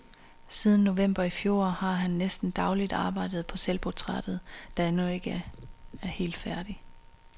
Siden november i fjor har han næsten dagligt arbejdet på selvportrættet, der endnu ikke er helt færdigt.